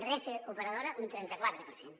renfe operadora un trenta quatre per cent